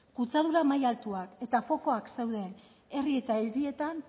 kutsadura maila altuak eta fokoak zeuden herri eta hirietan